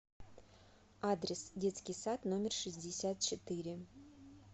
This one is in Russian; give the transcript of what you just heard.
адрес детский сад номер шестьдесят четыре